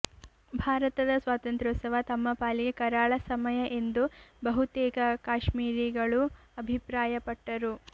ಭಾರತದ ಸ್ವಾತಂತ್ರ್ಯೋತ್ಸವ ತಮ್ಮ ಪಾಲಿಗೆ ಕರಾಳ ಸಮಯ ಎಂದು ಬಹುತೇಕ ಕಾಶ್ಮೀರಿಗಳು ಅಭಿಪ್ರಾಯಪಟ್ಟರು